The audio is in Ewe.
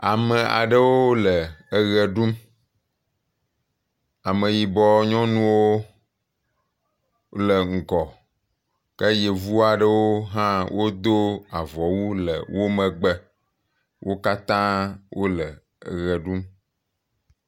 Ame aɖewo le eʋe ɖum. Ameyibɔ nyɔnuwo le ŋgɔ. Ke Yevu aɖewo hã wodo avɔwu le wo megbe. Wo katã wole ʋe ɖum.